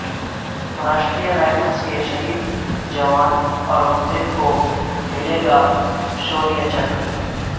Rashtriya rifles کے شہید جوان اورنگ زیب کو ملے گا شوریہ چکر